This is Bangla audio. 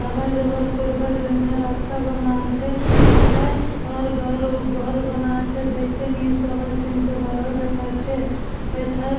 আওয়া যাবার করবার জন্য রাস্তা বানা আছে ওথায় আর ঘর ও ঘর বনা আছে দেখতে নিয়ে সবাই সিন -টা ভালো দেখাছে এথায়--